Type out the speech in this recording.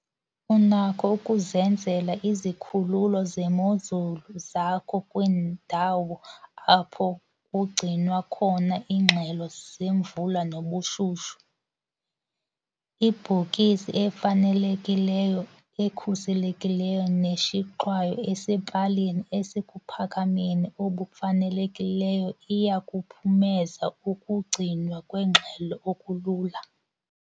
Unakho ukuzenzela izikhululo zemozulu zakho kwiindawo apho kugcinwa khona iingxelo zemvula nobushushu. Ibhokisi efanelekileyo ekhuselekileyo neshixwayo esepalini esekuphakameni obufanelekileyo iya kuphumeza ukugcinwa kweengxelo okulula.